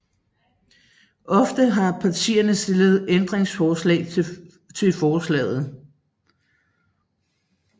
Ofte har partierne stillet ændringsforslag til forslaget